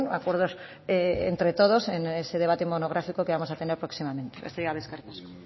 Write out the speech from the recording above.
acuerdos entre todos en ese debate monográfico que vamos a tener próximamente besterik gabe eskerrik asko